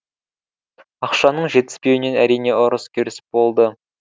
ақшаның жетіспеуінен әрине ұрыс керіс болды